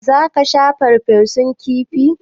Za ka sha farfesun kifi?